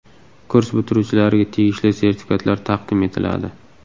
Kurs bitiruvchilariga tegishli sertifikatlar taqdim etiladi.